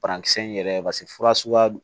Parankisɛ in yɛrɛ paseke fura suguya do